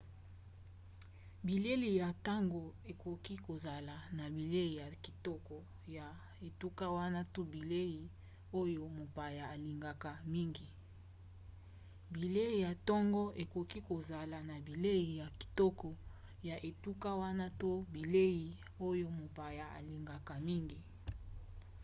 bilei ya ntongo ekoki kozala na bilei ya kitoko ya etuka wana to bilei oyo mopaya alingaka mingi